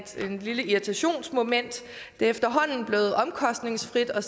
lille irritationsmoment det er efterhånden blevet omkostningsfrit at